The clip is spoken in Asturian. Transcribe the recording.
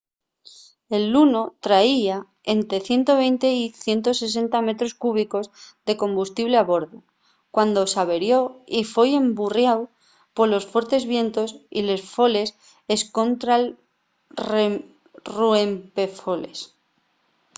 el luno traía ente 120 y 160 metros cúbicos de combustible a bordu cuando s’averió y foi emburriáu polos fuertes vientos y les foles escontra’l ruempefoles